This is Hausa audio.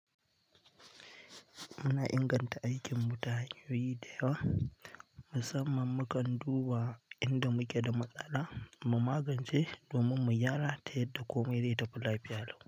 Muna inganta aikin mu ta hanyoyi da yawa, musamman mukan duba inda muke da matsala mu magance domin mu gyara ta yadda komai ya tafi lafiya.